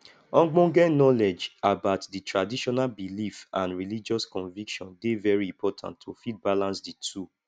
ogbonge knowledge about di traditional belief and religious conviction dey very important to fit balance di two